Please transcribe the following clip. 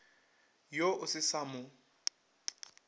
yo o se sa mo